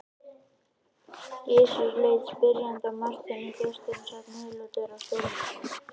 Gizur leit spyrjandi á Martein því gesturinn sat niðurlútur á stólnum.